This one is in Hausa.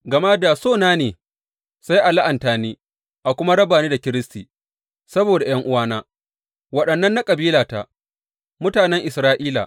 Gama da so na ne, sai a la’anta ni a kuma raba ni da Kiristi saboda ’yan’uwana, waɗannan na kabilata, mutanen Isra’ila.